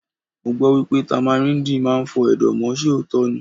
Mo gbọ́ wípé Támáríndì máa ń fọ Ẹ̀dọ̀ mọ́, ṣe òótọ́ ni?